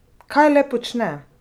Kaj le počne?